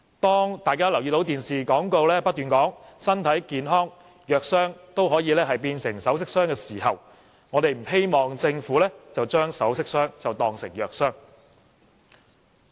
當大家看到電視廣告在不斷說"只要身體健康，藥箱都可以變成首飾箱"的時候，我們不希望政府把"首飾箱當成藥箱"。